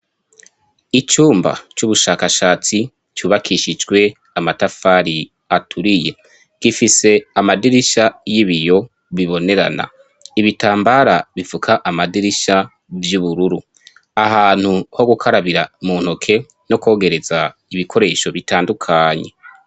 icumba c'ubushakashatsi cubakishije amatafari aturiye. Gifise amadirisha y'ibiyo bibonerana. Ibitambara bifuka amadirisha vy'ubururu, ahantu ho gukarabira mu ntoke no kwogereza ibikoresho bitandukanye.